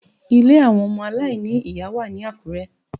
Ilé àwọn ọmọ aláìní ìyá wà ní Àkúrẹ́